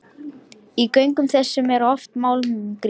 Í göngum þessum er oft málmgrýti.